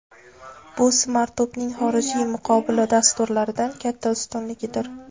Bu Smartup’ning xorijiy muqobil dasturlardan katta ustunligidir.